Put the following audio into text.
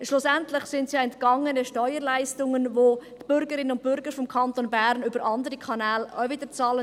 Schlussendlich sind es ja entgangene Steuerleistungen, welche die Bürgerinnen und Bürger des Kantons Bern über andere Kanäle auch wieder bezahlen.